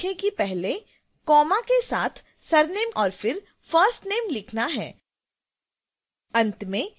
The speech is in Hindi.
याद रखें कि पहले comma के साथ surname और फिर first name लिखना है